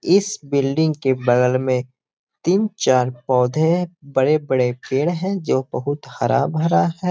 इस बिल्डिंग के बगल में तीन-चार पौधे हैं बड़े-बड़े पेड़ हैं जो बहुत हरा-भरा है।